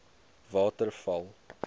waterval